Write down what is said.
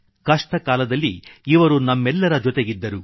ಕಷ್ಟಕಾಲದಲ್ಲಿ ಇವರು ನಮ್ಮೆಲ್ಲರ ಜೊತೆಗಿದ್ದರು